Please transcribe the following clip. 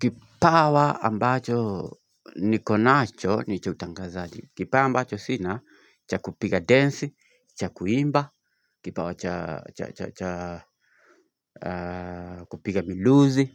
Kipawa ambacho niko nacho ni cha utangazaji. Kipawa ambacho sina cha kupiga dance, cha kuimba, kipawa cha cha cha kupiga viluzi,